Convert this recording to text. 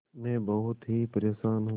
मैं बहुत ही परेशान हूँ